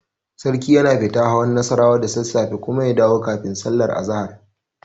Sarki yana fita hawan Nassarawa da sassafe kuma ya dawo kafin sallar azahar.